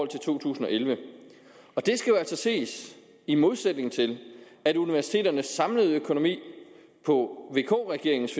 til to tusind og elleve det skal jo altså ses i modsætning til at universiteternes samlede økonomi på vk regeringens